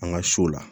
An ka so la